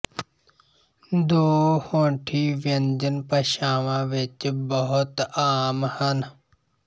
ਦੋ ਹੋਂਠੀ ਵਿਅੰਜਨ ਭਾਸ਼ਾਵਾਂ ਵਿੱਚ ਬਹੁਤ ਆਮ ਹਨ